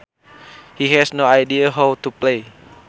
He has no idea how to play